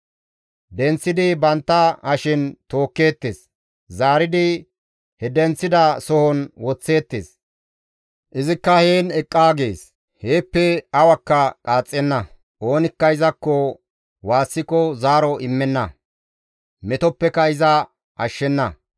Denththidi bantta hashen tookkeettes; zaaridi he denththida sohon woththeettes; izikka heen eqqaa gees; heeppe awakka qaaxxenna; oonikka izakko waassiko zaaro immenna; metoppeka iza ashshenna.